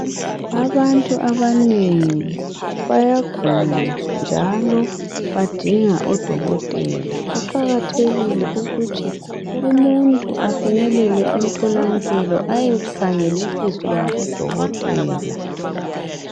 abantu abanengi bayagula njalo badinga odokotela kuqhakathekile ukuthi umuntu afikelele emtholampilo aye khangelisiswa ngabo dokotela